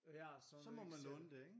Ja så må du ikke sælge